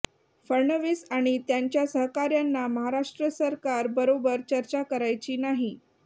फडणवीस आणि त्यांच्या सहकाऱ्यांना महाराष्ट्र सरकार बरोबर चर्चा करायची नाही